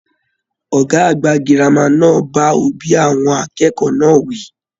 Ọgá àgbà gírámà náà bá òbí àwọn akẹ́kọ̀ọ́ náà wí.